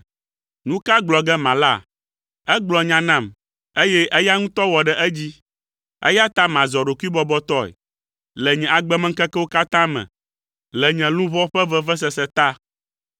Nu ka gblɔ ge mala? Egblɔ nya nam, eye eya ŋutɔ wɔ ɖe edzi. Eya ta mazɔ ɖokuibɔbɔtɔe. Le nye agbemeŋkekewo katã me, le nye luʋɔ ƒe vevesese ta.